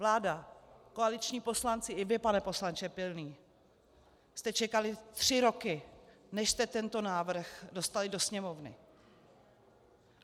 Vláda, koaliční poslanci i vy, pane poslanče Pilný, jste čekali tři roky, než jste tento návrh dostali do Sněmovny.